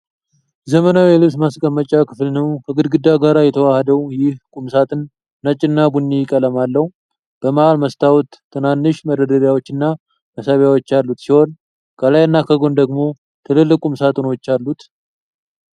ዘመናዊ የልብስ ማስቀመጫ ክፍል ነው። ከግድግዳ ጋር የተዋሃደው ይህ ቁም ሳጥን ነጭና ቡኒ ቀለም አለው። በመሃል መስታወት፣ ትናንሽ መደርደሪያዎችና መሳቢያዎች ያሉት ሲሆን፣ ከላይና ከጎን ደግሞ ትልልቅ ቁም ሳጥኖች አሉት።